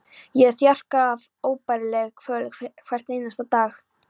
Ég er þjakaður af óbærilegri kvöl hvern einasta dag.